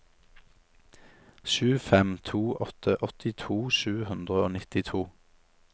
sju fem to åtte åttito sju hundre og nittito